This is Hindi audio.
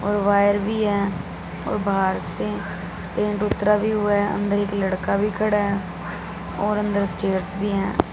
और वायर भी हैं और बाहर से पेंट उतरा भी हुआ है अंदर एक लड़का भी खड़ा हैं और अंदर स्टेयर्स भी है।